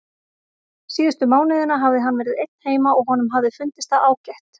Síðustu mánuðina hafði hann verið einn heima og honum hafði fundist það ágætt.